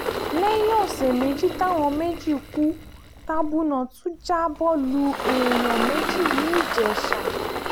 lẹ́yìn ọ̀sẹ̀ méjì táwọn méjì kú tabunà tún já bọ́ lu èèyàn méjì ní ìjẹsà